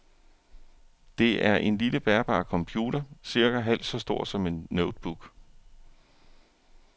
Det er en lille bærbar computer, cirka halvt så stor som en notebook.